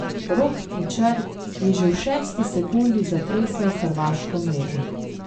Rok Tičar je že v šesti sekundi zatresel hrvaško mrežo.